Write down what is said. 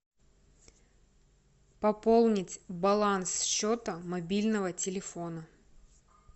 пополнить баланс счета мобильного телефона